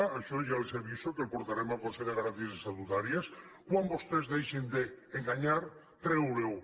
d’això ja els aviso que el portarem al consell de garanties estatutàries quan vostès deixin d’enganyar treure ho